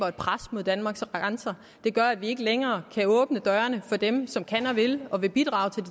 et pres mod danmarks grænser det gør at vi ikke længere kan åbne dørene for dem som kan og vil og vil bidrage